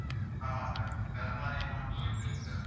ஆமா sir கருமாரியம்மன் கோவில் தெரு